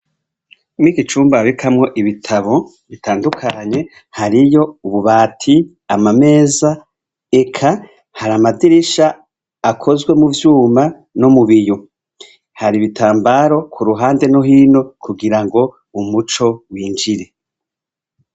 Muri iki cumba babikamwo ibitabo bitandukanye hariyo ububati amameza eka hari amadirisha akozwe muvyuma no mu biyo hari ibitambara kuruhande no hino kugira ngo umuco winjire.